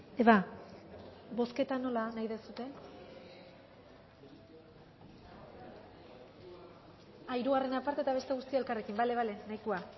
eva bozketa nola nahi duzue hirugarrena aparte eta beste guztiak elkarrekin bale nahikoa